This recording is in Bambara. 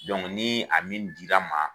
Dɔnku nii a min dira n ma